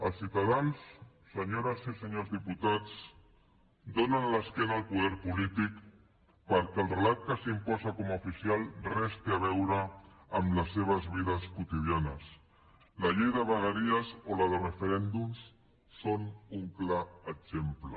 els ciutadans senyores i senyors diputats donen l’esquena al poder polític perquè el relat que s’imposa com a oficial res no té a veure amb les seves vides quotidianes la llei de vegueries o la de referèndums en són un clar exemple